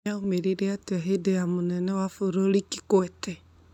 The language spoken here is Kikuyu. Yaumĩrire atĩa hĩndĩ ya mũnene wa bũrũri Kikwete?